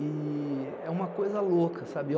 E é uma coisa louca, sabe?